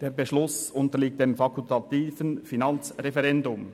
Der Beschluss unterliegt dem fakultativen Finanzreferendum.